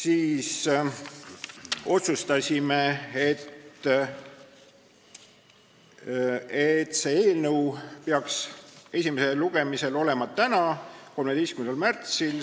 Me otsustasime, et see eelnõu peaks esimesel lugemisel olema täna, 13. märtsil.